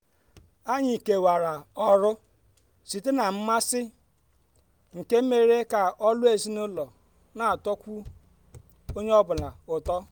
onye ọ bụla nwere ọrụ nke ya mana anyị niile n'enye n'enye aka mgbe ndị ọbịa n'abịa.